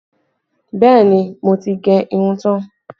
Bẹẹ ni, mo ti gẹ irun tán